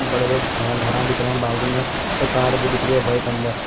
बड़े बड़े घरा दिख रहे हैं बाजू में एक कार भी दिख रही है व्हाईट अंदर।